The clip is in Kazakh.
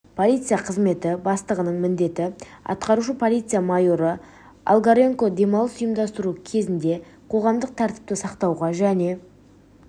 полиция қызметі бастығының міндетін атқарушы полиция майоры олгаренко демалыс ұйымдастыру кезінде қоғамдық тәртіпті сақтауға және